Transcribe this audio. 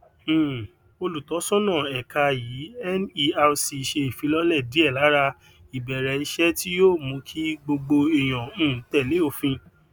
um olutosona eka yii nerc se ifilole die lara ibereise ti yoo mu ki gbogbo eeyan um tele ofin